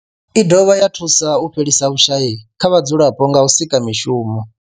I dovha ya thusa u fhelisa vhushayi kha vhadzulapo nga u sika mishumo.